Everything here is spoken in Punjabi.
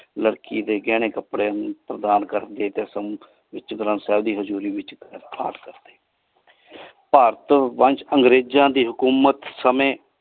ਲੜਕੀ ਦੇ ਗਹਿਣੇ ਕਪੜਿਆਂ ਪ੍ਰਦਾਨ ਕਕੇ ਤੇ ਗੁਰੂ ਗਰੰਰਥ ਸਾਹਿਬ ਦੀ ਹਜੂਰੀ ਵਿਚ ਭਾਰਤ ਵਿਚ ਅੰਗਰੇਜਾਂ ਦੀ ਹਕੋਮਤ ਸਮਾਏ।